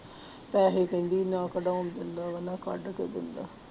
ਪੈਸੇ ਕਹਿੰਦੀ ਨਾ ਕਢਾਉਣ ਦਿੰਦਾ ਵਾ ਨਾ ਕੱਢ ਕੇ ਦਿੰਦਾ।